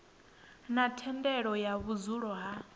na thendelo ya vhudzulo ha